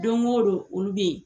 Don o don olu bɛ yen.